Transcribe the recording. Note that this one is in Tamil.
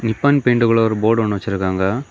நிப்பான் பெயிண்ட்குள்ள ஒரு போர்டு ஒன்னு வச்சிருக்காங்க.